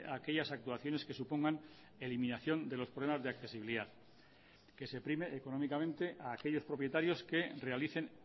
a aquellas actuaciones que supongan eliminación de los problemas de accesibilidad que se prime económicamente a aquellos propietarios que realicen